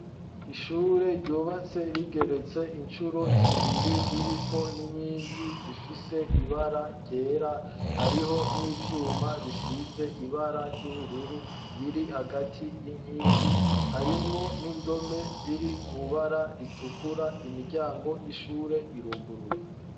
Ishure ryubatse rigeretse incuro zibiri ririko n'inkingi zifise ibara ryera hariho n'ivyuma bisize ibara ry'ubururu biri hagati y'inkingi harimwo n'indome ziri mwibara ritukura imiryango y'ishure iruguruye.